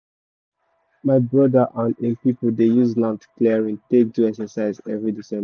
my brother and him people dey use land clearing take do exercise every december